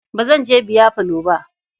Ba zan je biyafalo ba.